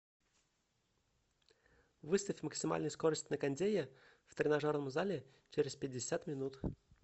выставь максимальную скорость на кондее в тренажерном зале через пятьдесят минут